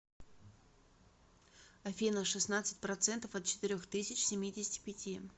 афина шестнадцать процентов от четырех тысяч семидесяти пяти